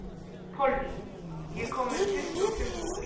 Pollý, ég kom með tuttugu og fimm húfur!